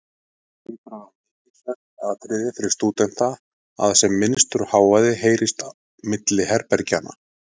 Það hlýtur að vera mikilsvert atriði fyrir stúdenta, að sem minnstur hávaði heyrist milli herbergjanna.